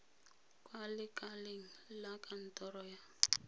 kwa lekaleng la kantoro ya